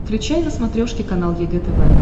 включай на смотрешке канал егэ тв